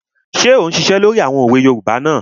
Ṣé ò ún ṣiṣẹ́ lórí àwọn òwe yoòbá náà?